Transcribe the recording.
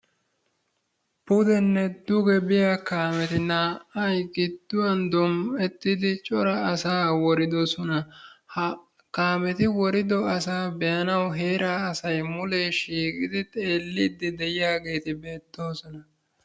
Pudenne duge biya kaameti naa"ay gidduwan dom"ettidi cora asaa woridosona. Ha kaameti worido asaa be'anawu heeraa asay mulee shiiqidi xeelliiddi de'iyageeti beettoosona.